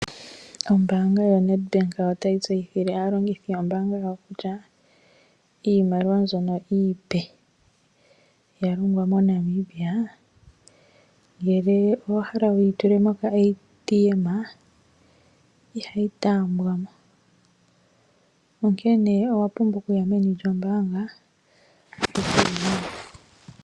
Ombaanga yaNedbank otayi tseyithile aalongithi yombaanga yawo kutya iimaliwa mbyoka iipe ya longwa moNamibia ngele owa hala okuyi tula mokashina kiimaliwa ihayi taambwa mo onkene owa pumbwa okuya meni lyoombaanga.